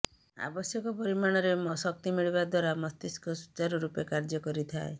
ଆବଶ୍ୟକ ପରିମାଣରେ ଶକ୍ତି ମିଳିବା ଦ୍ୱାରା ମସ୍ତିଷ୍କ ସୂଚାରୁରୂପେ କାର୍ୟ୍ୟ କରିଥାଏ